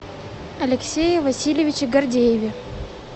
алексее васильевиче гордееве